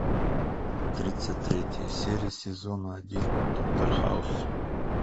тридцать третья серия сезона один доктор хаус